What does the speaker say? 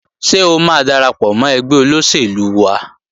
Ṣé o máa darapọ̀ mọ́ ẹgbẹ́ olóṣèlú wa?